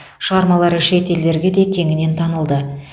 шығармалары шет елдерге де кеңінен танылды